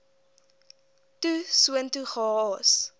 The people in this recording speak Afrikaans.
toe soontoe gehaas